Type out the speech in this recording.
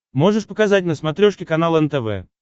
можешь показать на смотрешке канал нтв